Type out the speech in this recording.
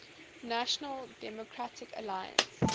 national democratic alliance